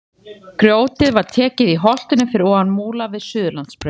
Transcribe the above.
Grjótið var tekið í holtinu fyrir ofan Múla við Suðurlandsbraut.